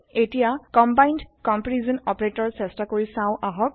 এতিয়া combined comparison operator চেষ্টা কৰি চাও আহক